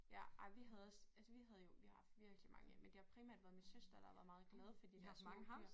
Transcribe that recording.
Ej vi havde også altså vi havde jo vi har haft virkelig mange men det har primært været min søster der har været meget glad for de her små dyr